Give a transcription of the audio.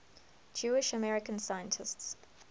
jewish american scientists